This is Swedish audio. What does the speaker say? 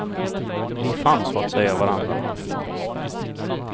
Vi fann så att säga varandra.